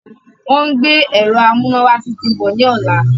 Wọ́n ń gbé ẹ̀rọ amúnáwá tuntun bọ̀ ní ọ̀la.